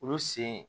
Olu sen